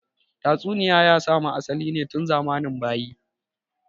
Tatsuniya ya samu asali tun zamanin bayi